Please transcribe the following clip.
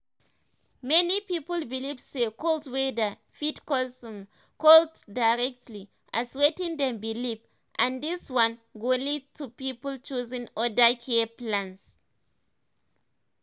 many people believe say cold weather fit cause um cold directly as wetin dem believe um and this one go lead um to people choosing other care plans.